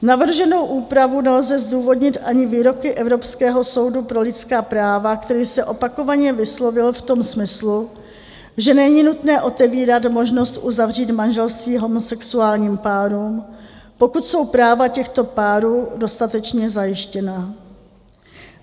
Navrženou úpravu nelze zdůvodnit ani výroky Evropského soudu pro lidská práva, který se opakovaně vyslovil v tom smyslu, že není nutné otevírat možnost uzavřít manželství homosexuálním párům, pokud jsou práva těchto párů dostatečně zajištěna.